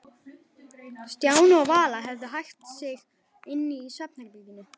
Stjáni og Vala höfðu hægt um sig inni í svefnherberginu.